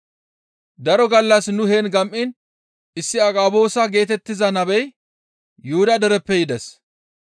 Daro gallas nu heen gam7iin issi Agaboosa geetettiza nabezi Yuhuda dereppe yides.